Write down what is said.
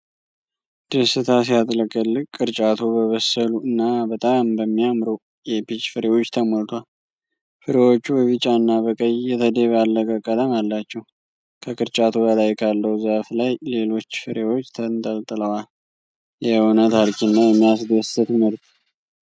ደስታ ሲያጥለቀልቅ! ቅርጫቱ በበሰሉ እና በጣም በሚያምሩ የፒች ፍሬዎች ተሞልቷል። ፍሬዎቹ በቢጫና በቀይ የተደባለቀ ቀለም አላቸው። ከቅርጫቱ በላይ ካለው ዛፍ ላይ ሌሎች ፍሬዎች ተንጠልጥለዋል። የእውነት አርኪና የሚያስደስት ምርት!